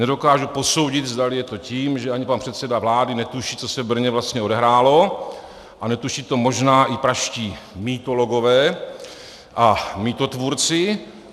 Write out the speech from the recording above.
Nedokážu posoudit, zdali je to tím, že ani pan předseda vlády netuší, co se v Brně vlastně odehrálo, a netuší to možná i pražští mytologové a mýtotvůrci.